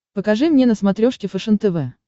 покажи мне на смотрешке фэшен тв